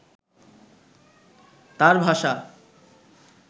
তাঁর ভাষা